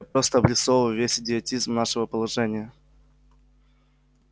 просто обрисовываю весь идиотизм нашего положения